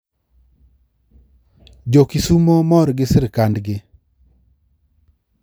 Jo kisumo mor gi sirkand gi